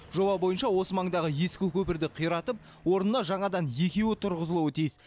жоба бойынша осы маңдағы ескі көпірді қиратып орнына жаңадан екеуі тұрғызылуы тиіс